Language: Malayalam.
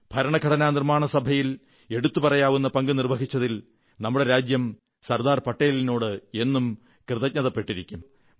ഭരണഘടനാ നിർമ്മാണ സഭയിൽ എടുത്തുപറയാവുന്ന പങ്കു നിർവ്വഹിച്ചതിൽ നമ്മുടെ രാജ്യം സർദാർ പട്ടേലിനോട് എന്നും കൃതജ്ഞതപ്പെട്ടിരിക്കും